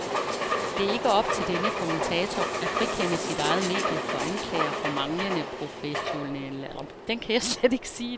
Det er ikke op til denne kommentator at frikende sit eget medie for anklager for manglende professionalisme.